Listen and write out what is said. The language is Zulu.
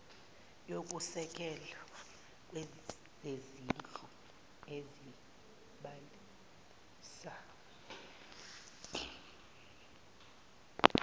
yokusekela kwezezindlu ezobasiza